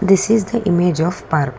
this is the image of park.